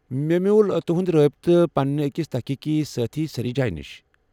مےٚ میوُل تُہُنٛد رٲبطہٕ پنٛنہِ أکس تحقیٖقی سٲتھی سریٖجایہ نِشہِ ۔